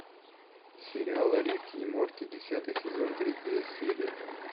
сериал рик и морти десятый сезон третья серия